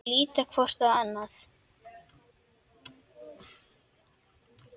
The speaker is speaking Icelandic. Þau líta hvort á annað.